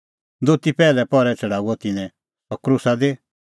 दोती पैहलै पहरै छ़ड़ाऊअ तिन्नैं सह क्रूसा दी